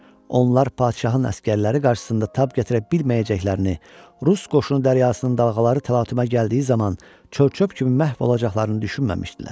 Onlar padşahın əsgərləri qarşısında tab gətirə bilməyəcəklərini, rus qoşunu dəryasının dalğaları təlatümə gəldiyi zaman çörçöp kimi məhv olacaqlarını düşünməmişdilər.